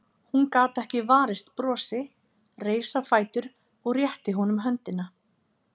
Hún gat ekki varist brosi, reis á fætur og rétti honum höndina.